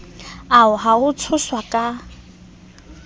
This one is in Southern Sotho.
ao a ho tshoswa ka